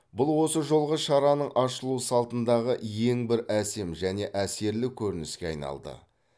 бұл осы жолғы шараның ашылу салтындағы ең бір әсем және әсерлі көрініске айналды